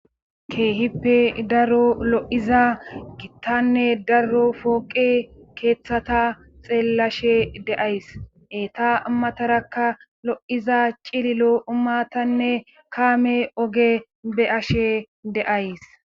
Keehippe daro lo7iza gittanne daro fooqe keeththata xeellashe deays eta ammatarakka lo7iza cililo umatanne kaame oge be ashe deays.